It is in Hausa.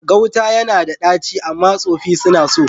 Gauta ya na da ɗaci, amma tsofi suna so.